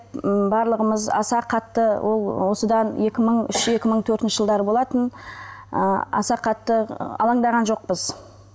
м барлығымыз аса қатты ол осыдан екі мың үш екі мың төртінші жылдары болатын ы аса қатты алаңдаған жоқпыз